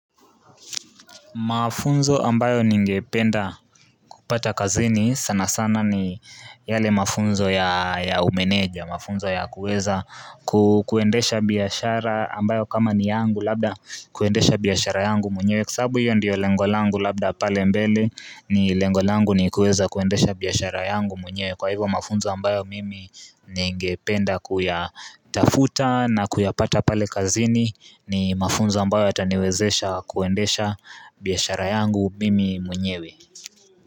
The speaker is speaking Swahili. Mafunzo ambayo ningependa kupata kazini sana sana ni yale mafunzo ya umeneja mafunzo ya kuweza ku kuendesha biashara ambayo kama ni yangu labda kuendesha biashara yangu mwenye kwa sababu hiyo ndiyo lengo langu labda pale mbele ni lengo langu ni kuweza kuendesha biashara yangu mwenyewe kwa hivo mafunzo ambayo mimi ningependa kuya tafuta na kuyapata pale kazini ni mafunzo ambayo yataniwezesha kuendesha biashara yangu mimi mwenyewe.